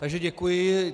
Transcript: Takže děkuji.